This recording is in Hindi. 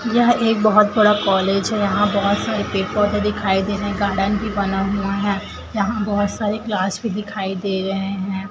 यह एक बहुत बड़ा कॉलेज है यहां बहुत सारे पेड़ पौधे दिखाई दे रहे हैं गार्डन भी बना हुआ है यहां बहुत सारे क्लास भी दिखाई दे रहे हैं।